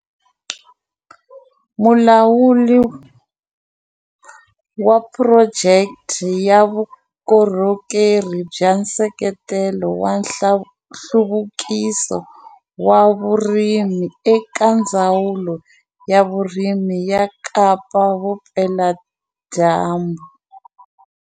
Mulawuri wa phurojeke ya vukorhokeri bya nseketelo wa nhluvukiso wa vurimi eka Ndzawulo ya Vurimi ya Kapa-Vupeladyambu.